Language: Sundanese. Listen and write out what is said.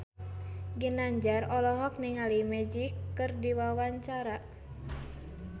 Ginanjar olohok ningali Magic keur diwawancara